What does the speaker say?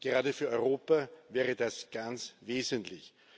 Gerade für Europa wäre das ganz wesentlich.